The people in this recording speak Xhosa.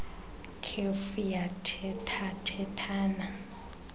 kef yathetha thethana